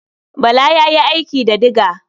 Bala ya yi aiki da diga.